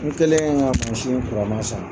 N kɛlen ka san.